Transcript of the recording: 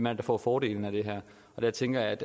er der får fordelen af det her der tænker jeg at